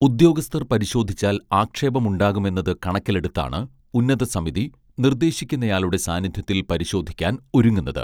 ഉദ്യോഗസ്ഥർ പരിശോധിച്ചാൽ ആക്ഷേപമുണ്ടാകുമെന്നത് കണക്കിലെടുത്താണ് ഉന്നതസമിതി നിർദേശിക്കുന്നയാളുടെ സാന്നിധ്യത്തിൽ പരിശോധിക്കാൻ ഒരുങ്ങുന്നത്